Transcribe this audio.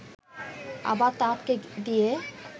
আবার তা আটকে দিয়ে